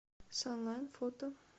санлайт фото